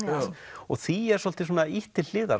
og því er svolítið ýtt til hliðar